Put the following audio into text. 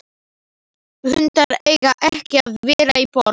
Hundar eiga ekki að vera í borg.